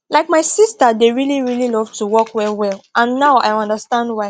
like my sister dey really really love to walk well well and now i understand why